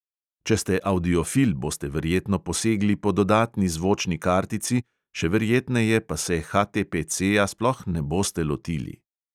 Če ste avdiofil, boste verjetno posegli po dodatni zvočni kartici, še verjetneje pa se HTPCja sploh ne boste lotili.